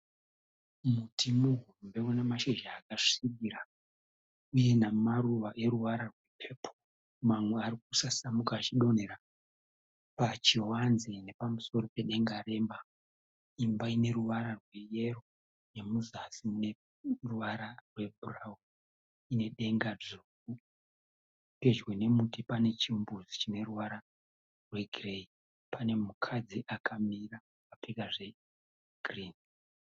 Muti muhombe unemashizha akasvibira uye namaruva eruvara rwepepoo. Mamwe arikusasamuka achidonhera pachivanze nepamusoro pedenga remba. Imba ineruvara rweyero nemuzasi muneruvara rwebhurauni, inedenga dzvuku. Pedyo nemuti pane chimbuzi chineruvara rwegireyi. Pane mukadzi akamira akapfeka zvegirini.